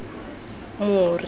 more